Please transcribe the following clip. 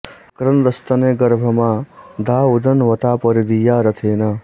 अभि क्रन्द स्तनय गर्भमा धा उदन्वता परि दीया रथेन